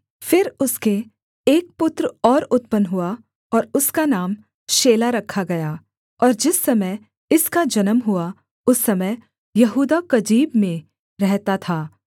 फिर उसके एक पुत्र और उत्पन्न हुआ और उसका नाम शेला रखा गया और जिस समय इसका जन्म हुआ उस समय यहूदा कजीब में रहता था